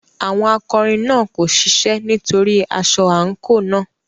Àwọn akọrin náà kò ṣiṣẹ́ nítorí aṣọ àǹkóò náà.